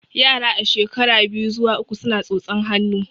Yara a shekara biyu zuwa uku suna tsotsan hannu